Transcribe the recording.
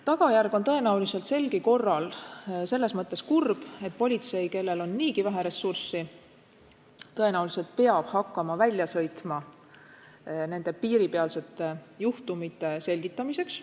Tagajärg on tõenäoliselt selgi korral selles mõttes kurb, et politsei, kellel on niigi vähe ressurssi, peab ilmselt hakkama välja sõitma nende piiripealsete juhtumite selgitamiseks.